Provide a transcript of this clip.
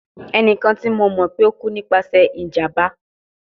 Ẹnikan ti mo mọ pe o ku nipasẹ ijamba